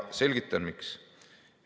Selgitan, miks.